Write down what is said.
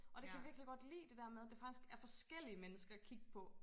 Og det kan jeg virkelig godt lide det der med der faktisk er forskellige mennesker at kig på